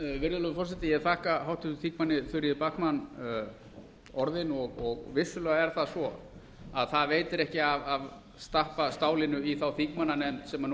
virðulegur forseti ég þakka háttvirtum þingmönnum þuríði backman orðin vissulega er það svo að það veitir ekki af að stappa stálinu í þingmannanefndina sem nú